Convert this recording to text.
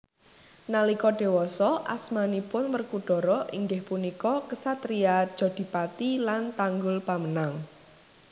Nalika dewasa asmanipun Werkudara inggih punika ksatria Jodipati lan Tanggulpamenang